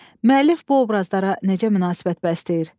Müəllif bu obrazlara necə münasibət bəsləyir?